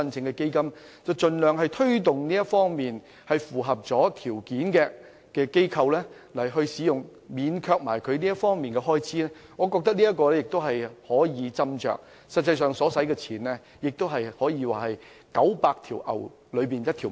我們應盡量推動符合條件的機構使用學校場地，免卻這方面的開支，我覺得有關安排可以斟酌，實際上所花的費用，可說是九牛一毛。